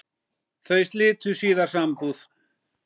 Þau slitu síðar sambúð.